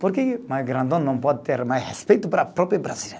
Por que mais grandão não pode ter mais respeito para o próprio brasileiro?